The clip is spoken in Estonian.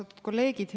Austatud kolleegid!